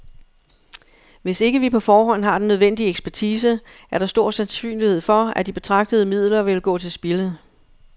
Hvis ikke vi på forhånd har den nødvendige ekspertise, er der stor sansynlighed for, at de betragtelige midler vil gå til spilde.